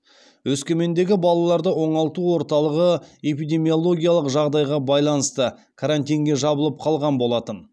өскемендегі балаларды оңалту орталығы эпидемиологиялық жағдайға байланысты карантинге жабылып қалған болатын